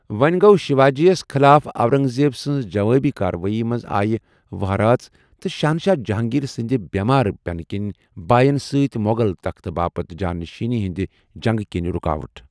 و٘ونہِ گو٘و ، شیواجیَ یس خِلاف اورنگ زیب سٕنزِ جوابی كاروٲیی منز آیہ وہرٲژ تہٕ شہنشاہ جہانگیر سٕندِ بیمار پینہٕ كِنہِ باین سۭتۍ موغل تختہٕ باپت جاں نشینی ہندِ جنگہٕ كِنہِ رُكاوٹھ ۔